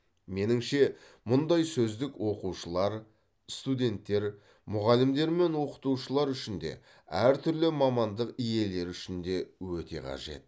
меніңше мұндай сөздік оқушылар студенттер мұғалімдер мен оқытушылар үшін де әртүрлі мамандық иелері үшін де өте қажет